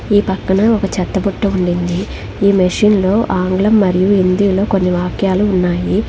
ఈ పక్కనే ఒక చెత్త బుట్ట ఉండింది. ఈ మెషిన్ లో ఆంగ్లం మరియు హిందీలో కొన్ని వాక్యాలు ఉన్నాయి.